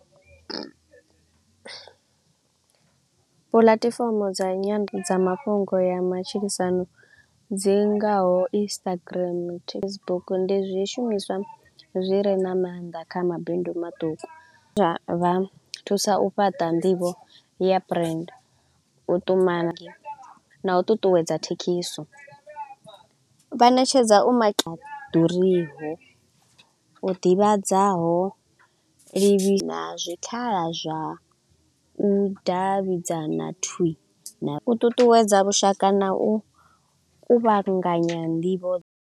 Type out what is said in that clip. Puḽatifomo dza dza mafhungo ya matshilisano dzi ngaho Instagram, Facebook, ndi zwishumiswa zwi re na maanḓa kha mabindu maṱuku. Zwa zwa thusa u fhaṱa nḓivho ya brand u ṱumana na u ṱuṱuwedza, vha ṋetshedza u sa ḓuriho u ḓivhadzaho ḽivhi na zwikhala zwa u davhidzana thwii na u ṱuṱuwedza vhushaka na u kuvhanganya nḓivho.